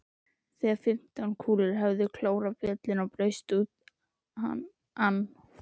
Þegar fimmtán kúlur höfðu klórað bjöllunni braust út ann